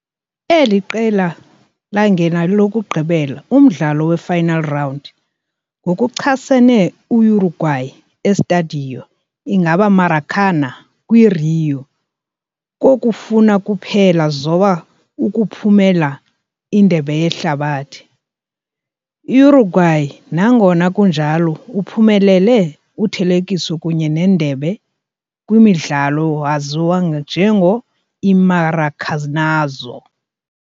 Eli qela sangena yokugqibela umdlalo we-final round, ngokuchasene Uruguay e Estádio ingaba Maracanã kwi-Rio, kokufuna kuphela zoba ukuphumelela Indebe Yehlabathi. Uruguay, nangona kunjalo, uphumelele uthelekiso kunye Nendebe kwi umdlalo waziwa njengo "i-Maracanazo".